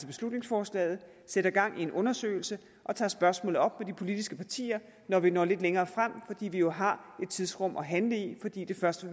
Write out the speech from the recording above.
beslutningsforslaget sætter gang i en undersøgelse og tager spørgsmålet op med de politiske partier når vi når lidt længere frem fordi vi jo har et tidsrum at handle i fordi det først